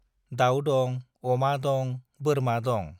दाउ दं, अमा दं, बोरमा दं।